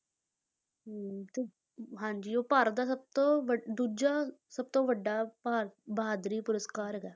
ਹਮ ਤੇ ਹਾਂਜੀ ਉਹ ਭਾਰਤ ਦਾ ਸਭ ਤੋਂ ਦੂਜਾ ਸਭ ਤੋਂ ਵੱਡਾ ਭਾ~ ਬਹਾਦਰੀ ਪੁਰਸ਼ਕਾਰ ਹੈਗਾ ਹੈ।